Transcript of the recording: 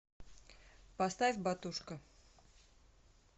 поставь батушка